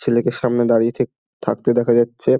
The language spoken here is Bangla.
ছেলে কে সামনে দাঁড়িয়ে থেক থাকতে দেখা যাচ্ছে।